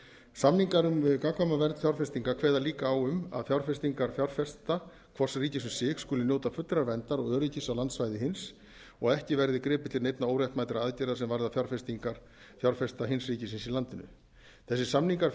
samningar um gagnkvæma vernd fjárfestinga kveða líka á um að fjárfestingar fjárfesta hvors ríkis um sig skuli njóta fullrar verndar og öryggis á landsvæði hins og að ekki verði gripið til neinna óréttmætra aðgerða sem varða fjárfestingar fjárfesta hins ríkisins í landinu þessir samningar